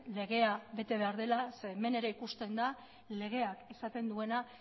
legea bete behar dela zeren hemen ere ikusten da legeak esaten duena